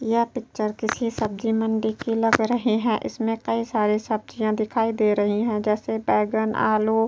यह पिक्चर किसी सब्ज़ी मंडी की लग रही हैं। इसमें कई सारे सब्जियां दिखाई दे रही हैं जैसे बैगन आलू --